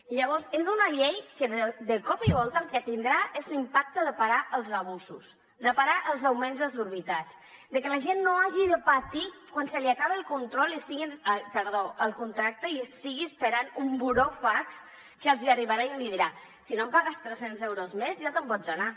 llavors és una llei que de cop i volta el que tindrà és l’impacte de parar els abusos de parar els augments desorbitats de que la gent no hagi de patir quan se li acaba el contracte i estigui esperant un burofax que els arribarà i els dirà si no em pagues tres cents euros més ja te’n pots anar